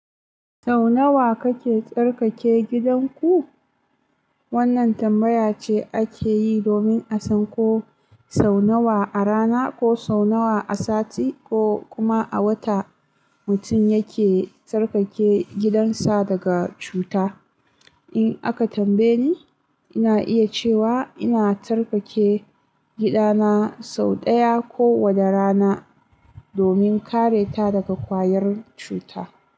Sau nawa kake tsarkake gidanku? Wannan tambaya ce ake yi domin a san ko sau nawa a rana, ko sau nawa a sati, ko kuma a wata mutum yake tsarkake gidansa daga cuta. In aka tambaye ni, ina iya cewa ina tsarkake gidana sau ɗaya kowane rana domin kare ta daga kwayar cuta.